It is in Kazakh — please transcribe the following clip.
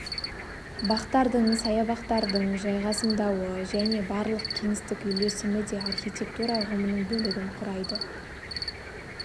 бақтардың саябақтардың жайғасымдауы және барлық кеңістік үйлесімі де архитектура ұғымының бөлігін құрайды